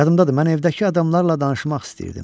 Yadımdadır, mən evdəki adamlarla danışmaq istəyirdim.